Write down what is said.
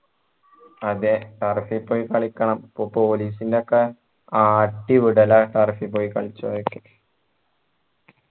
അതെ turf ൽ പോയി കളിക്കണം ഇപ്പൊ police ൻ്റെ ഒക്കെ ആട്ടി വിടലാണ് turf പോയി കളിച്ച